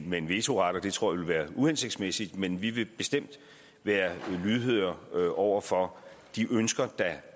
med en vetoret og det tror jeg vil være uhensigtsmæssigt men vi vil bestemt være lydhøre over for de ønsker der